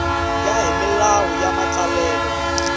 ya hi milawu ya matsalelo